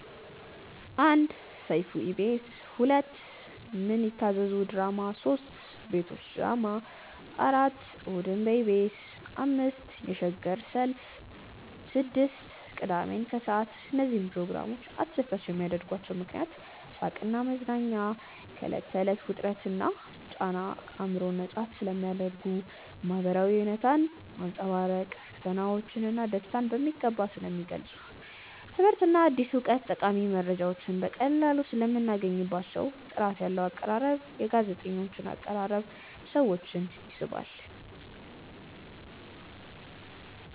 1. ሰይፉ በኢቢኤስ 2. ምን ይታዘዙ ድራማ 3. ቤቶች ድራማ 4. እሁድን በኢቢኤስ 5. የሸገር ሸልፍ 6. ቅዳሜን ከሰዓት እነዚህን ፕሮግራሞች አስደሳች የሚያደርጓቸው ምክንያቶች፦ . ሳቅና መዝናኛ፦ ከዕለት ተዕለት ውጥረትና ጫና አእምሮን ነፃ ስለሚያደርጉ። . ማህበራዊ እውነታን ማንፀባረቅ፦ ፈተናዎች ና ደስታዎች በሚገባ ስለሚገልፁ። . ትምህርትና አዲስ እውቀት፦ ጠቃሚ መረጃዎችን በቀላሉ ሰለምናገኝባቸው። . ጥራት ያለው አቀራረብ፦ የጋዜጠኞች አቀራረብ ሰዎችን ይስባል።